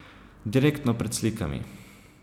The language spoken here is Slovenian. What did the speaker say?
Direktno pred slikami.